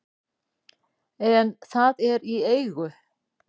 en það er í eigu